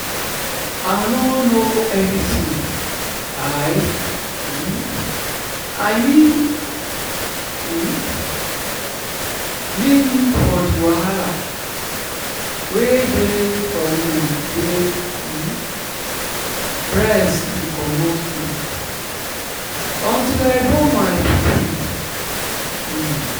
i nor know anything i um mean um mean for the wahala wey dey for woman wey um breast dey comot milk until i born my pikin. um